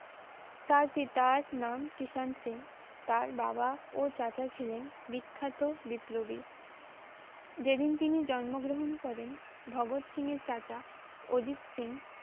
তার পিতার নাম কৃষাণ সিং তার বাবা ও চাচা ছিলেন বিখ্যাত বিপ্লবী যেদিন তিনি জন্ম গ্রহণ করেন ভগৎ সিং এর চাচা অজিত সিং